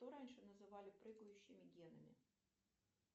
что раньше называли прыгающими генами